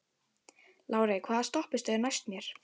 Lárey, hvaða stoppistöð er næst mér?